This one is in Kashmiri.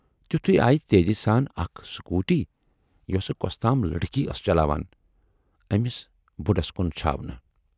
تِتھُے آیہِ تیزی سان اکھ سکوٗٹی یۅسہٕ کۅستام لڑکی ٲس چلاوان، ٲمِس بُڈس کُن چھاونہٕ۔